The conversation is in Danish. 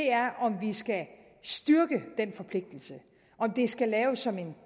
er om vi skal styrke den forpligtelse om det skal laves som en